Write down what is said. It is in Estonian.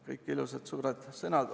Kõik ilusad suured sõnad.